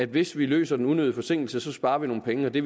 hvis vi løser den unødige forsinkelse sparer vi nogle penge og det